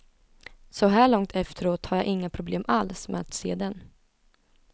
Så här långt efteråt har jag inga problem alls med att se den.